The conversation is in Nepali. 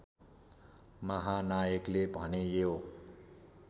महानायकले भने यो